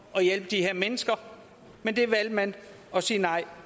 at hjælpe de her mennesker men det valgte man at sige nej